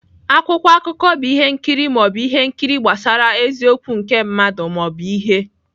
Akwụkwọ akụkọ bụ ihe nkiri ma ọ bụ ihe nkiri gbasara eziokwu nke mmadụ ma ọ bụ ihe.